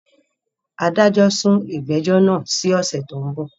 Adájọ́ sún ìgbẹ́jọ́ náà sí ọ̀sẹ̀ tí ó ń bọ̀